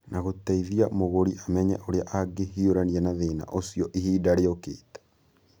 na gũteithia mũgũri amenye ũrĩa angĩhiũrania na thĩna ũcio ihinda rĩũkĩte.